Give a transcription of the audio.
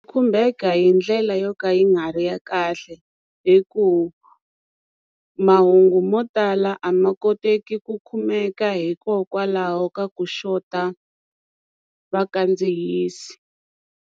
Khumbeka hi ndlela yo ka yi nga ri ya kahle hi ku mahungu mo tala a ma koteki ku kumeka hikokwalaho ka ku xota vakandziyisi.